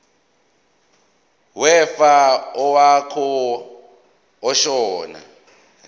wefa owaqokwa ashona